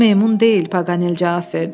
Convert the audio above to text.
Bu meymun deyil, Paqanel cavab verdi.